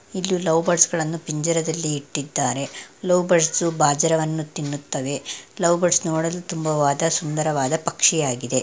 ಇಲ್ಲಿ ಲವ್ ಬರ್ಡ್ಸ್ಗಳನ್ನೂ ಪಿಂಜರದಲ್ಲಿ ಇಟ್ಟಿದ್ದಾರೆ ಲವ್ ಬರ್ಡ್ಸ್ ಬಾಜರವನ್ನು ತಿನ್ನುತ್ತವೆ ಲವ್ ಬರ್ಡ್ಸ್ ನೋಡಲು ತುಂಬವಾದ ಸುಂದರವಾದ ಪಕ್ಷಿಯಾಗಿದೆ.